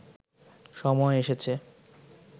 সময় এসেছে